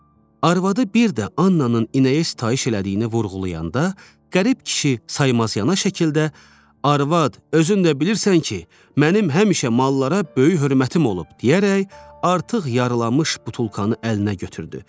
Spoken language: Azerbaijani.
Arvadı bir də Annanın inəyə sitayiş elədiyini vurğulayanda, qərib kişi saymaz yana şəkildə “arvad, özün də bilirsən ki, mənim həmişə mallara böyük hörmətim olub” deyərək artıq yarılanmış butulkanı əlinə götürdü.